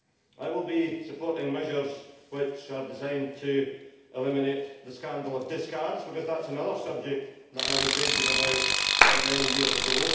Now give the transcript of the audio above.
I will be supporting measures which are designed to eliminate the scandal of discards, because that is another subject that I was raging about many years ago.